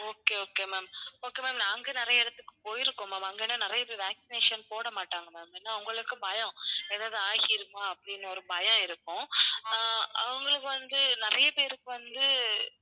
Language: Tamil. okay, okay ma'am, okay ma'am நாங்க நிறைய இடத்துக்குப் போயிருக்கோம் ma'am அங்க ஏன்னா நிறைய பேர் vaccination போடமாட்டாங்க ma'am ஏன்னா அவங்களுக்கு பயம் ஏதாவது ஆகிடுமா அப்படின்னு ஒரு பயம் இருக்கும் ஆஹ் அவங்களுக்கு வந்து நிறைய பேருக்கு வந்து